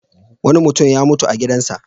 Wani mutum ya mutu a gidansa.